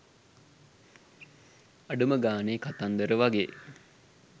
අඩුම ගානෙ කතන්දර වගේ